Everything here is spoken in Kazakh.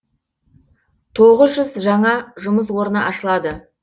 тоғыз жүз жаңа жұмыс орны ашылады